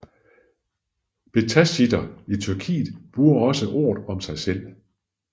Bektashitter i Tyrkiet bruger også ordet om sig selv